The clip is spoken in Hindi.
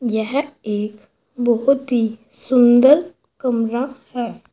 यह एक बहुत ही सुंदर कमरा है।